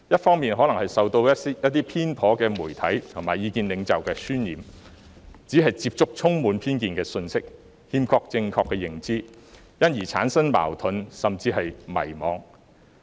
他們可能受到一些偏頗的媒體和意見領袖的渲染，只是接觸充滿偏見的信息，欠缺正確的認知，因而產生矛盾，甚至迷茫。